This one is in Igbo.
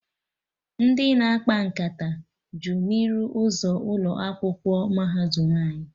Ndị na-akpa nkata ju n'iru ụzọ ụlọ akwụkwọ mahadum anyị